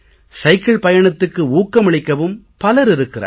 cycle பயணத்துக்கு ஊக்கமளிக்கவும் பலர் இருக்கிறார்கள்